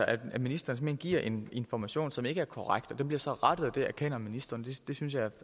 at ministeren giver en information som ikke er korrekt og den bliver så rettet og det erkender ministeren det synes jeg